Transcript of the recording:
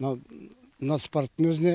мынау нацпарктің өзіне